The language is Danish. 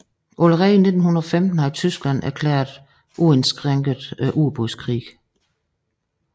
Allerede i 1915 havde Tyskland erklæret uindskrænket ubådskrig